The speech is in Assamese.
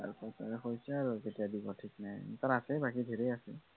হৈছে আৰু কেতিয়া দিব থিক নাই তাৰ আছেই বাকী ধেৰ আছে।